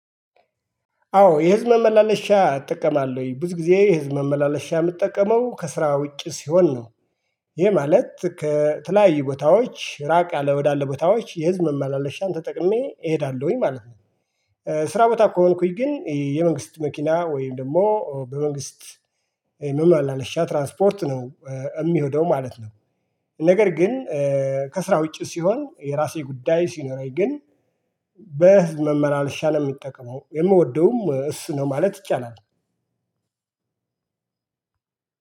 አዎ የህዝብ ማመላለሻ እጠቀማለሁኝ ብዙ ጊዜ የህዝብ መመላለሻ የምጠቀመው ከስራ ውጪ ሲሆን ነው። ይሄ ማለት ከተለያዩ ቦታዎች ራቅ ያለ ወዳለ ቦታዎች የህዝብ መመላለሻን ተጠቅሜ እሄዳለሁኝ ማለት ነው። ስራ ቦታ ከሆንኩኝ ግን የመንግስት መኪና ወይም ደግሞ በመንግስት የህዝብ ማላለሻ ትራንስፖርት ነው የምሄደው ማለት ነው። ነገር ግን ከስራ ውጪ ሲሆን የራሴ ጉዳይ ሲኖረኝ ግን በህዝብ ማመላለሻ ነው የምጠቀመው የምወደውም እሱ ነው ማለት ይቻላል።